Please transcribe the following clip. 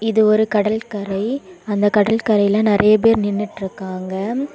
இது ஒரு கடல் கரை அந்த கடற்கரையில நறைய பேர் நின்னுட்ருக்காங்க.